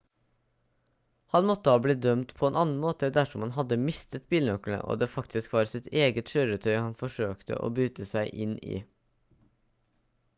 han måtte ha blitt dømt på en annen måte dersom han hadde mistet bilnøklene og det faktisk var sitt eget kjøretøy han forsøkte å bryte seg inn i